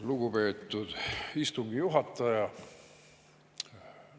Lugupeetud istungi juhataja!